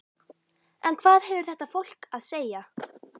En hvað hefur þetta fólk að segja?